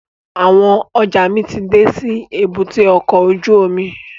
Àwọn ọjọ́ mi ti dé sí èbúté ọkọ̀ ojú omi